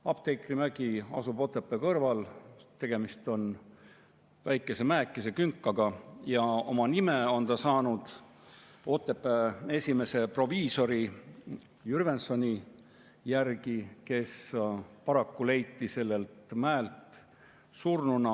Apteekrimägi asub Otepää kõrval, tegemist on väikese mäekese, künkaga ja oma nime on ta saanud Otepää esimese proviisori Jürgensoni järgi, kes paraku leiti sellelt mäelt surnuna.